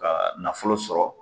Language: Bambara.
Ka nafolo sɔrɔ.